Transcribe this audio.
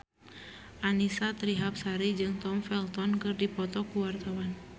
Annisa Trihapsari jeung Tom Felton keur dipoto ku wartawan